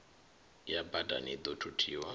ya badani i ḓo thuthiwa